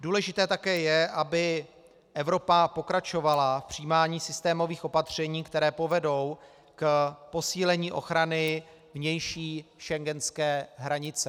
Důležité také je, aby Evropa pokračovala v přijímání systémových opatření, která povedou k posílení ochrany vnější schengenské hranice.